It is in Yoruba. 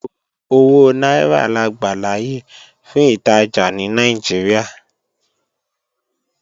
Owó náírà la gbàláyè fún ìtajà ní Nàìjíríà